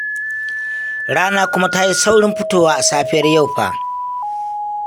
Rana kuma ta yi saurin fitowa a safiyar yau fa